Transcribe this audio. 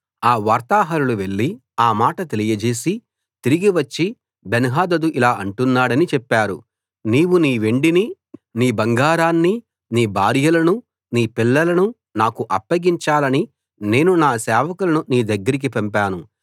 ఆ వార్తాహరులు వెళ్లి ఆ మాట తెలియచేసి తిరిగి వచ్చి బెన్హదదు ఇలా అంటున్నాడని చెప్పారు నీవు నీ వెండినీ నీ బంగారాన్నీ నీ భార్యలనూ నీ పిల్లలనూ నాకు అప్పగించాలని నేను నా సేవకులను నీ దగ్గరికి పంపాను